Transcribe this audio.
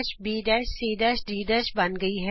ਪਰਿਕਰਮਣਿਕ image ABC D ਬਣ ਗਈ ਹੈ